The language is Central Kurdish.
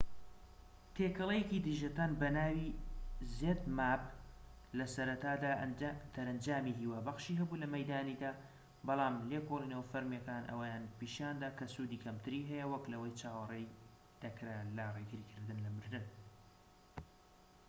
تێکەڵەیەکی دژە تەن بە ناوی zmapp لە سەرەتادا دەرەنجامی هیوابەخشی هەبوو لە مەیدانیدا بەڵام لێکۆڵینەوە فەرمیەکان ئەوەیان پیشاندا کە سوودی کەمتری هەیە وەك لەوەی چاوەڕێی دەکرا لە ڕێگریکردن لە مردن